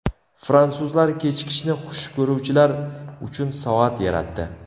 Fransuzlar kechikishni xush ko‘ruvchilar uchun soat yaratdi.